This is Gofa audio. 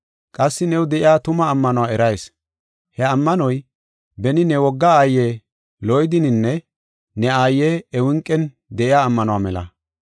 Qassi new de7iya tuma ammanuwa erayis. He ammanoy beni ne wogga aaye Loydininne ne aaye Ewuniqin de7iya ammanuwa mela.